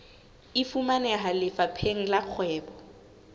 e fumaneha lefapheng la kgwebo